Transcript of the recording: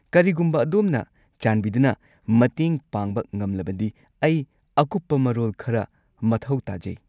ꯀꯔꯤꯒꯨꯝꯕ ꯑꯗꯣꯝꯅ ꯆꯥꯟꯕꯤꯗꯨꯅ ꯃꯇꯦꯡ ꯄꯥꯡꯕ ꯉꯝꯂꯕꯗꯤ ꯑꯩ ꯑꯀꯨꯞꯄ ꯃꯔꯣꯜ ꯈꯔ ꯃꯊꯧ ꯇꯥꯖꯩ꯫